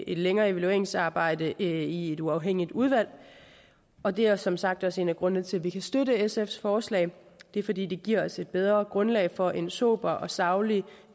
et længere evalueringsarbejde i et uafhængigt udvalg og det er som sagt også en af grundene til at vi kan støtte sfs forslag det er fordi det giver os et bedre grundlag for en sober og saglig